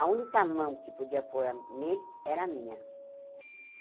A única mão que podia pôr a nele era a minha.